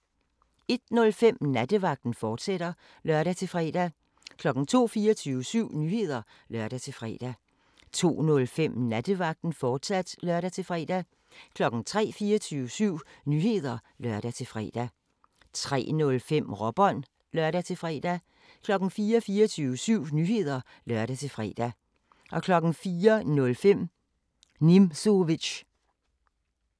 01:05: Nattevagten, fortsat (lør-fre) 02:00: 24syv Nyheder (lør-fre) 02:05: Nattevagten, fortsat (lør-fre) 03:00: 24syv Nyheder (lør-fre) 03:05: Råbånd (lør-fre) 04:00: 24syv Nyheder (lør-fre) 04:05: Nimzowitsch